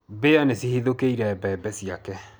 Mbĩa nĩ cihithũkĩire mbembe ciake.